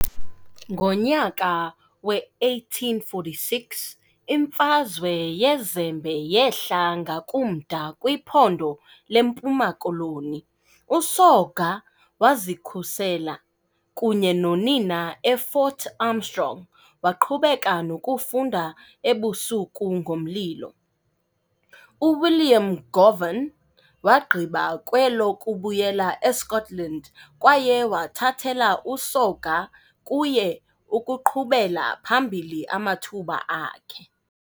Ngonyaka we-1846, "iMfazwe yeZembe" yehla ngakumda kwiphondo leMpuma Koloni, uSoga wazikhusela kunye nonina eFort Armstrong, waqhubeka nokufunda ebusuku ngomlilo. UWilliam Govan wagqiba kwelokubuyela eScotland kwaye wathathela uSoga kuye ukuqhubela phambili amathuba akhe.